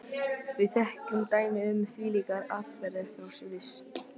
Við þekkjum dæmi um þvílíkar aðfarir frá Sviss, meðan